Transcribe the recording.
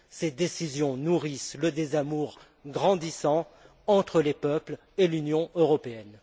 Ces décisions nourrissent le désamour grandissant entre les peuples et l'Union européenne.